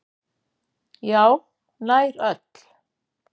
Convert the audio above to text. Já, nær öll.